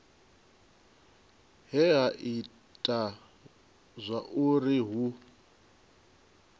he ha ita zwauri hu